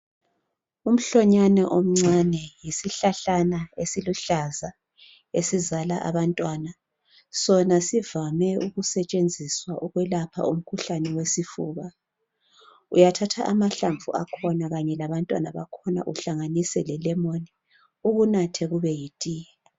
Umhlonyana omncane yisihlahlana esiluhlaza esizala abantwana sona sivame ukusetshenziswa ukwelapha umkhuhlane wesifuba uyathatha amahlamvu akhona kanye labantwana bakhona uhlanganise le lemon ukunathe kube yi tiye.